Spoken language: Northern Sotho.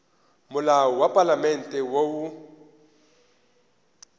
molao wa palamente wo o